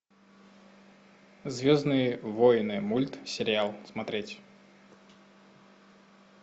звездные войны мультсериал смотреть